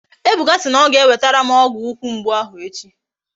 Ebuka si na ọ ga-ewetere m ọgwụ ukwu mgbu ahụ echi